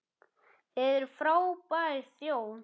Þið eruð frábær þjóð!